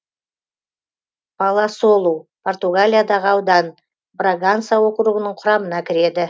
паласолу португалиядағы аудан браганса округінің құрамына кіреді